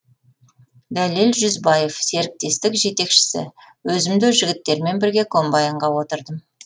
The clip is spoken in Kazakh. дәлел жүзбаев серіктестік жетекшісі өзім де жігіттермен бірге комбайнға отырдым